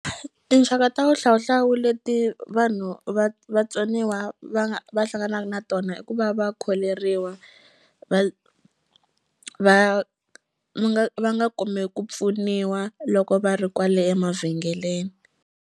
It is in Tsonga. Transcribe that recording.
Tinxaka ta wuhlawuhlawu leti vanhu va vatsoniwa va nga va hlanganaku na tona i ku va va kholeriwa va va va nga va nga kumi ku pfuniwa loko va ri kwale emavhengeleni.